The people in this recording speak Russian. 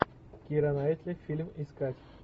кира найтли фильм искать